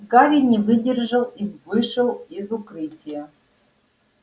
гарри не выдержал и вышел из укрытия